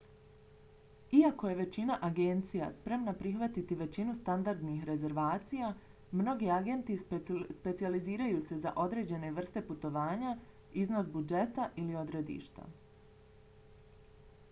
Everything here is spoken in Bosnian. iako je većina agencija spremna prihvatiti većinu standardnih rezervacija mnogi agenti specijaliziraju se za određene vrste putovanja iznos budžeta ili odredišta